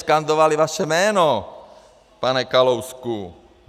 Skandovali vaše jméno, pane Kalousku.